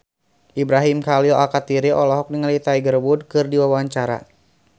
Ibrahim Khalil Alkatiri olohok ningali Tiger Wood keur diwawancara